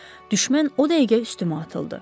Düşmən o dəqiqə üstümə atıldı.